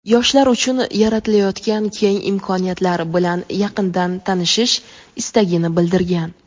yoshlar uchun yaratilayotgan keng imkoniyatlar bilan yaqindan tanishish istagini bildirgan.